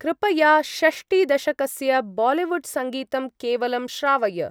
कृपया षष्टि-दशकस्य बालीवुड् सङ्गीतं केवलं श्रावय।